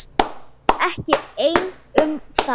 Og ekki einn um það.